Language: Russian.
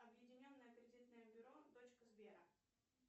объединенное кредитное бюро дочка сбера